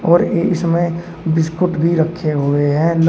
और इसमें बिस्कुट भी रखे हुए है ला--